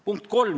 Punkt kolm.